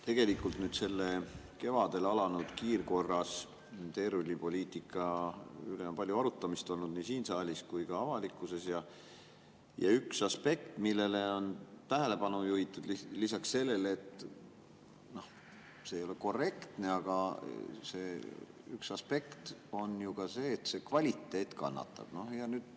Tegelikult selle kevadel alanud kiirkorras teerullipoliitika üle on palju arutamist olnud nii siin saalis kui ka avalikkuses, ja üks aspekt, millele on tähelepanu juhitud lisaks sellele, et see ei ole korrektne, on ju ka see, et kvaliteet kannatab.